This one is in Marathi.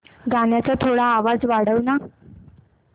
गाण्याचा थोडा आवाज वाढव ना